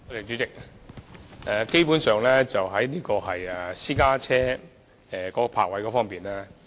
主席，當局基本上定下了私家車的泊車位數量。